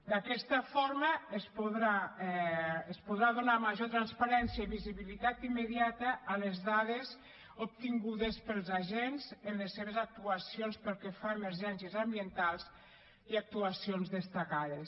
d’aquesta forma es podrà donar major transparència i visibilitat immediata a les dades obtingudes pels agents en les seves actuacions pel que fa a emergències ambientals i actuacions destacades